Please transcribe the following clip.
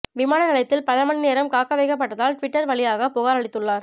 விமான நிலையத்தில் பல மணி நேரம் காக்க வைக்கப்பட்டதால் ட்விட்டர் வழியாகப் புகார் அளித்துள்ளார்